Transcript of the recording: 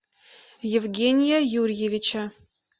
евгения юрьевича